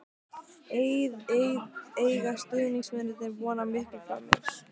Eiga stuðningsmennirnir von á miklu frá mér?